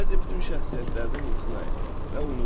Əvvəlcə bütün şəxsiyyətlərdən imtina et və unutma.